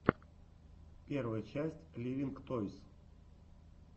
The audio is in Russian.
первая часть ливинг тойс